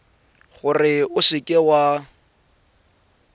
gore o seka w a